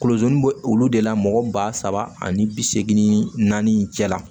Kolonni bɛ olu de la mɔgɔ ba saba ani bi seegin ni naani cɛ la